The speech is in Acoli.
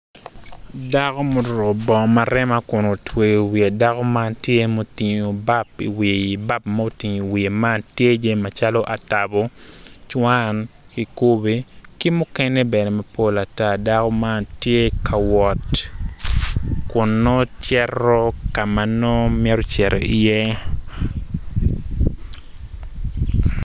Dako muruku bongo marema kun wutweyo wiye dako man tye mutingu bap i wiye bap mutingu i wiye man tye jami macalo atabo cwan kikubi ki mukene bene mapol ata dako man tye ka wot kun nongo cito ka nongo mito cito iye